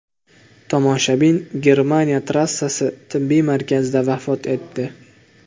Tomoshabin Germaniya trassasi tibbiy markazida vafot etdi.